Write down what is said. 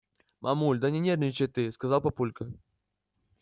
мамуль да не нервничай ты сказал папулька